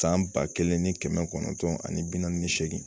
San ba kelen ni kɛmɛ kɔnɔntɔn ani bi naani ni segin